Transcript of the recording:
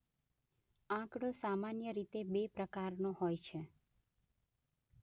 આંકડો સામાન્ય રીતે બે પ્રકારનો હોય છે